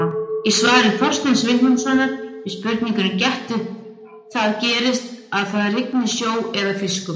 Í svari Þorsteins Vilhjálmssonar við spurningunni Getur það gerst að það rigni sjó eða fiskum?